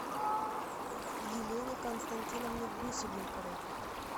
елене константиновне гусельниковой